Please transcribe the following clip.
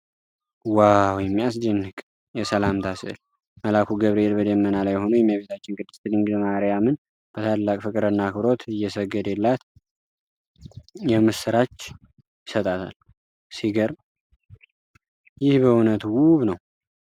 ዋው! የሚያስደንቅ የሰላምታ ሥዕል! መልአኩ ገብርኤል በደመና ላይ ሆኖ፣ የእመቤታችን ቅድስት ድንግል ማርያምን በታላቅ ፍቅርና አክብሮት እየሰገደላት፣ የምስራች ይሰጣታል። ሲገርም! ይህ በእውነት ውብ ነው።